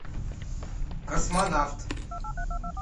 космонавт